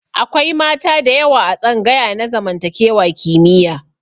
Akwai mata da yawa a tsangaya na zamantakewa kimiyya.